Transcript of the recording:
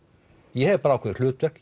ég hef bara ákveðið hlutverk